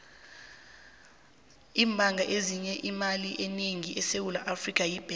ibhanga eyenza imali enengi esewula afrika yi nedbank